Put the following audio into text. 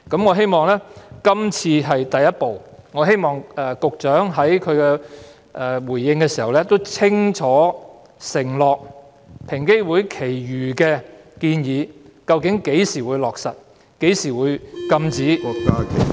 我希望今次修例是第一步，並希望局長稍後回應時清楚承諾會落實平機會餘下的建議，以及交代究竟何時落實，何時禁止......